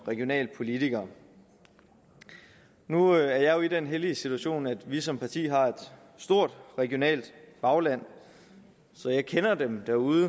regionale politikere nu er jeg jo i den heldige situation at vi som parti har et stort regionalt bagland så jeg kender dem derude